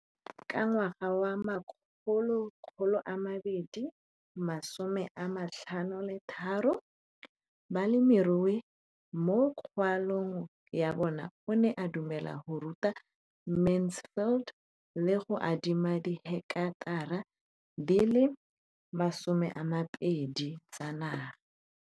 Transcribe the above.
Ka ngwaga wa 2013, molemirui mo kgaolong ya bona o ne a dumela go ruta Mansfield le go mo adima di heketara di le 12 tsa naga.